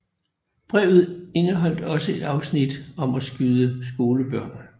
Brevet indeholdt også et afsnit om at skyde skolebørn